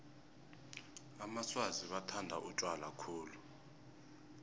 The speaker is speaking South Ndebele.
amaswazi bathanda utjwala khulu